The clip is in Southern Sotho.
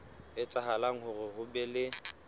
etsahala hore ho be le